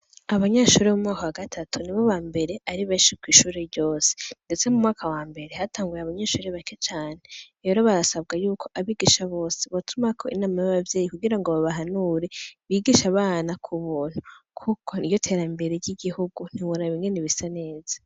Abanyeshuri b'umoka wa gatatu ni bo ba mbere ari benshirwa ishuri ryose, ndetse mu mwaka wa mbere hatanguye abanyeshuri bake cane ero barasabwa yuko abigisha bose batumako inama y'abavyeyi kugira ngo babahanure bigisha abana ku buntu k'uko iyo tera mbere y'igihugu ntiburabingene bisa neza.